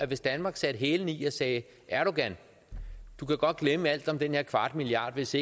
hvis danmark satte hælene i og sagde erdogan du kan godt glemme alt om den her kvarte milliard hvis